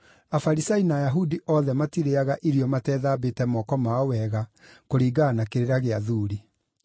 (Afarisai na Ayahudi othe matirĩĩaga irio matethambĩte moko mao wega kũringana na kĩrĩra gĩa athuuri.